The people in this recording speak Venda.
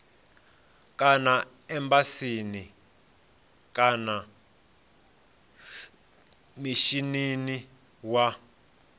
kana embasini kana mishinini wa